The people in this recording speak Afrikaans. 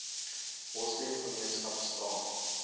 moslem gemeenskap staan